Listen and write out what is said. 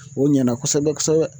O ɲɛna kosɛbɛ kosɛbɛ